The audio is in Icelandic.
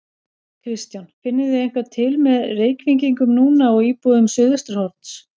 Kristján: Finnið þið eitthvað til með Reykvíkingum núna og íbúum Suðvesturhorns?